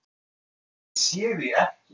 Ég sé þig ekki.